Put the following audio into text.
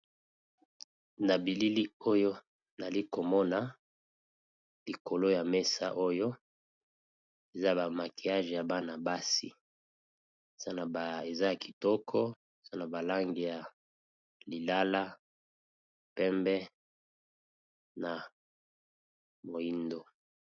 Na bilili oyo nazalikomona likolo ya mesa oyo eza ba manquillage ya Bana basi eza yakitoko eza na ba langi ya lilala, pembe na moyindo.